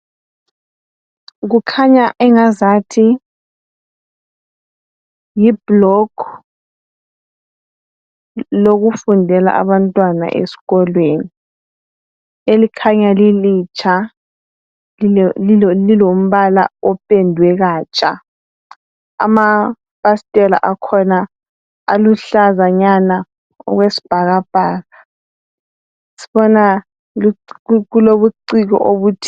Kukhanya engazathi yiblock lokufundela abantwana esikolweni, elikhanya lilitsha lilombala opendwe katsha, amafasitela akhona aluhlazanyana okwesibhakabhaka. Sibona kulobuciko obuthile.